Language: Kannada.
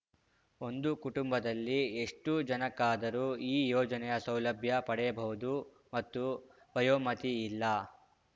ಒಂದು ಕುಟುಂಬದಲ್ಲಿ ಎಷ್ಟುಜನಕ್ಕಾದರೂ ಈ ಯೋಜನೆಯ ಸೌಲಭ್ಯ ಪಡೆಯಬಹುದು ಮತ್ತು ವಯೋಮತಿಯಿಲ್ಲ